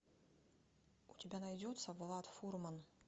у тебя найдется влад фурман